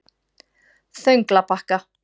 Þönglabakka